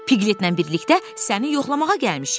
Piqletlə birlikdə səni yoxlamağa gəlmişik.